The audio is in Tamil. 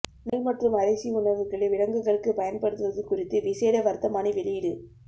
நெல் மற்றும் அரிசி உணவுகளை விலங்குகளுக்கு பயன்படுத்துவது குறித்து விசேட வர்த்தமானி வெளியீடு